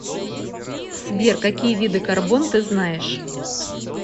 сбер какие виды карбон ты знаешь